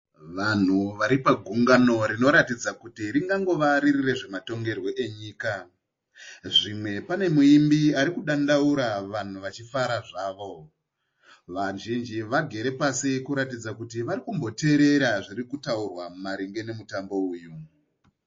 Vanhu vari pagungano rinoratidza kuti ringangova riri rezvematongerwo enyika. Zvimwe pane muimbi arikudandaura vanhu vachifara zvavo. Vazhinji vagere pasi kuratidza kuti varikumboteerera zvirikutaurwa maringe nemutambo uyu.